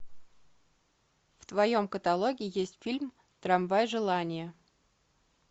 в твоем каталоге есть фильм трамвай желание